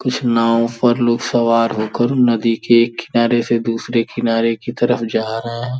कुछ नाव पर लोग सवार होकर नदी के एक किनारे से दूसरे किनारे की तरफ जा रहे हैं।